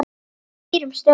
Skýrum stöfum.